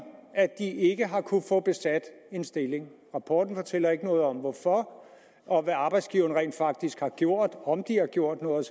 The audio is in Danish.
at de ikke har kunnet få besat en stilling rapporten fortæller ikke noget om hvorfor og hvad arbejdsgiverne rent faktisk har gjort om de har gjort noget